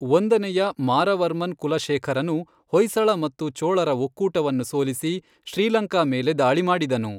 ಒಂದನೆಯ ಮಾರವರ್ಮನ್ ಕುಲಶೇಖರನು ಹೊಯ್ಸಳ ಮತ್ತು ಚೋಳರ ಒಕ್ಕೂಟವನ್ನು ಸೋಲಿಸಿ ಶ್ರೀಲಂಕಾ ಮೇಲೆ ದಾಳಿ ಮಾಡಿದನು.